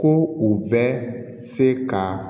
Ko u bɛ se ka